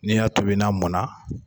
N'i y'a tobi n'a mɔn na.